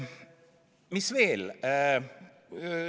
Mis veel?